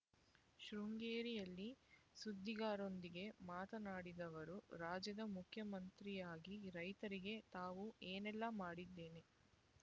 ಶೃಂಗೇರಿಯಲ್ಲಿ ಸುದ್ದಿಗಾರರೊಂದಿಗೆ ಮಾತನಾಡಿದ ಅವರು ರಾಜ್ಯದ ಮುಖ್ಯಮಂತ್ರಿಯಾಗಿ ರೈತರಿಗೆ ತಾವು ಏನೆಲ್ಲಾ ಮಾಡಿದ್ದೇನೆ